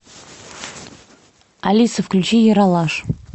алиса включи ералаш